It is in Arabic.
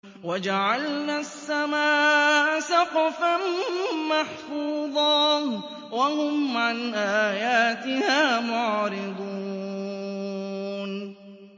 وَجَعَلْنَا السَّمَاءَ سَقْفًا مَّحْفُوظًا ۖ وَهُمْ عَنْ آيَاتِهَا مُعْرِضُونَ